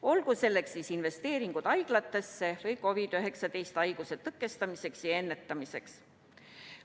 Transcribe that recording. Olgu näiteks toodud investeeringud haiglatesse ning COVID-19 haiguse leviku tõkestamiseks ja ennetamiseks.